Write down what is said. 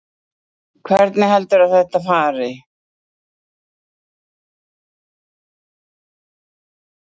Jóhanna: Hvernig heldurðu að þetta fari?